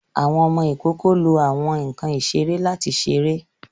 Àwọn ọmọ ikoko lo awọn nkan isere lati ṣere